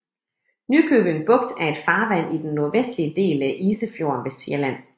Nykøbing Bugt er et farvand i den nordvestlige del af Isefjorden ved Sjælland